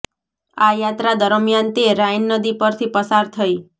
આ યાત્રા દરમિયાન તે રાઈન નદી પરથી પસાર થઈ